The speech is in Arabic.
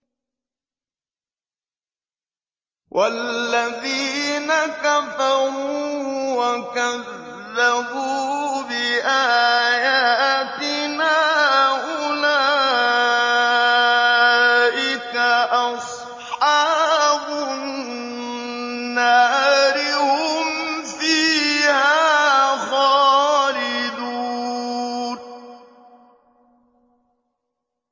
وَالَّذِينَ كَفَرُوا وَكَذَّبُوا بِآيَاتِنَا أُولَٰئِكَ أَصْحَابُ النَّارِ ۖ هُمْ فِيهَا خَالِدُونَ